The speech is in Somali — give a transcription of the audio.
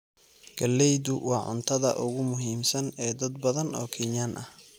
Galleydu waa cuntada ugu muhiimsan ee dad badan oo Kenyan ah.